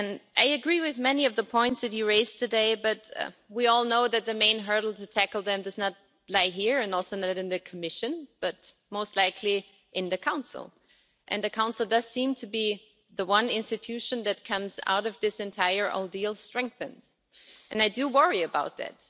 I agree with many of the points that you raised today, Ms von der Leyen, but we all know that the main hurdle to tackle them does not lie here or in the Commission, but most likely in the Council, and the Council does seem to be the one institution that comes out of this entire ordeal strengthened and I do worry about that.